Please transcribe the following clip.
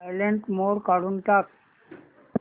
silent mode काढून टाक